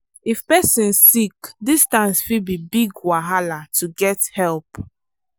if person sick distance fit be big wahala to get help.